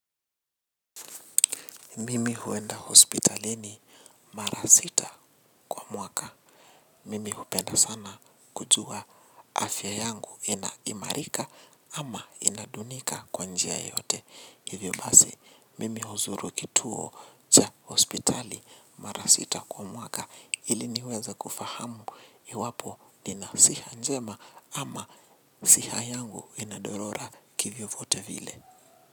Mimi huenda hospitalini mara sita kwa mwaka. Mimi hupenda sana kujua afya yangu inaimarika ama inadunika kwa njia yeyote. Hivyo basi, mimi huzuru kituo cha hospitali mara sita kwa mwaka. Iliniweza kufahamu iwapo nina siha njema ama siha yangu inadorora kivyovote vile.